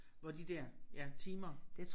Hvor de der ja timer